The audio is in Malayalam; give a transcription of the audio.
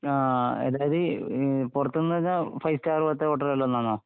ആ... അതായത്, പുറത്ത് ന് പറഞ്ഞാൽ ഫൈവ് സ്റ്റാർ പോലത്തെ ഹോട്ടലുകളിൽ നിന്നാണോ?